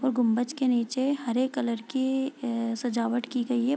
और गुंबज के नीचे हरे कलर की अ सजावट की गई है |